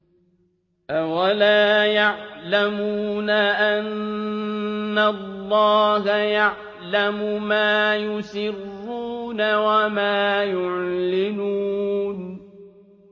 أَوَلَا يَعْلَمُونَ أَنَّ اللَّهَ يَعْلَمُ مَا يُسِرُّونَ وَمَا يُعْلِنُونَ